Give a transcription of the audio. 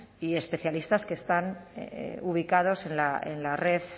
y especialistas que están ubicados en la red